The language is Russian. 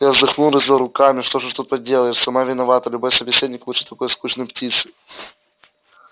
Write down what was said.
я вздохнул развёл руками что уж тут поделаешь сама виновата любой собеседник лучше такой скучной птицы